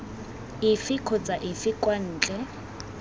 efe kgotsa efe kwa ntle